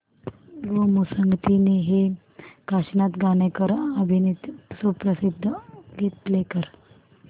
गोमू संगतीने हे काशीनाथ घाणेकर अभिनीत सुप्रसिद्ध गीत प्ले कर